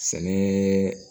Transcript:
Sɛnɛ